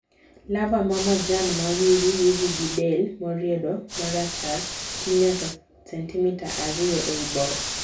larvar ma majan ma wiri wiri gi del moriedo marachar tii nyaka 2cm ei bor